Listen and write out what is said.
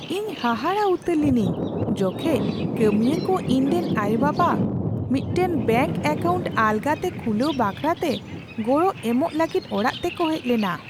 ᱤᱧ ᱦᱟᱦᱟᱲᱟᱜ ᱩᱛᱟᱹᱨ ᱞᱤᱱᱟᱹᱧ ᱡᱚᱠᱷᱮᱡ ᱠᱟᱹᱢᱤᱭᱟᱹ ᱠᱚ ᱤᱧᱨᱮᱱ ᱟᱭᱳᱼᱵᱟᱵᱟ ᱢᱤᱫᱴᱟᱝ ᱵᱮᱝᱠ ᱮᱠᱟᱣᱩᱱᱴ ᱟᱞᱜᱟᱛᱮ ᱠᱷᱩᱞᱟᱹᱣ ᱵᱟᱠᱷᱨᱟᱛᱮ ᱜᱚᱲᱚ ᱮᱢᱚᱜ ᱞᱟᱹᱜᱤᱫ ᱚᱲᱟᱜ ᱛᱮᱠᱚ ᱦᱮᱡ ᱞᱮᱱᱟ ᱾